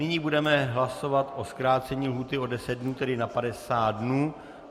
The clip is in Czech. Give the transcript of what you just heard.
Nyní budeme hlasovat o zkrácení lhůty o 10 dnů, tedy na 50 dnů.